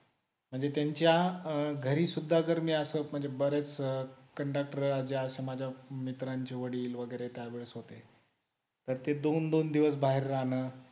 आणि त्यांच्या घरी सुद्धा जर मी असं म्हणजे बरेच cunductor जे असे माझ्या मित्रांचे वडील वगैरे त्यावेळेस होते तर ते दोन दोन दिवस बाहेर राहण